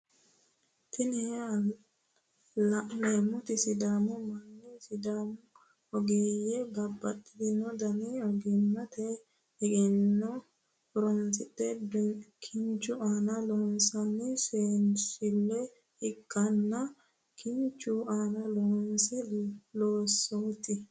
Tini la'neemoti sidaamu manni sudaamu ogeeyye babbaxitino dani oggimmate egenno horonsidhe kinchu aana loonsanni seensille ikkanna kinchu aana loonsooni loosooti.